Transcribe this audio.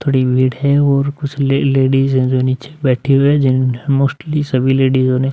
थोड़ी मीड है और कुछ ले लेडीज है जो नीचे बैठी हुई है जिन्होंने मोस्टली सभी लेडीजो ने --